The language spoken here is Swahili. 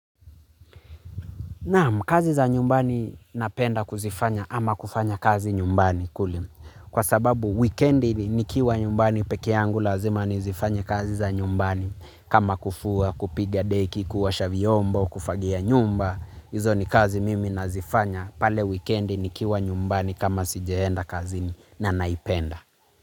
Kazi za nyumbani napenda kuzifanya ama kufanya kazi nyumbani. Kwa sababu wikendi nikiwa nyumbani pekeyangu lazima nizifanye kazi za nyumbani. Kama kufua, kupiga deki, kuosha vyombo, kufagia nyumba. Izo ni kazi mimi nazifanya pale wikendi nikiwa nyumbani kama sijaenda kazini na naipenda.